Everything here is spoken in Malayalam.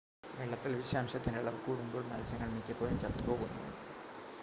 വെള്ളത്തിൽ വിഷാംശത്തിൻ്റെ അളവ് കൂടുമ്പോൾ മത്സ്യങ്ങൾ മിക്കപ്പോഴും ചത്തു പോകുന്നു